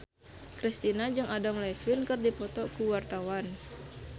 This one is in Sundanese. Kristina jeung Adam Levine keur dipoto ku wartawan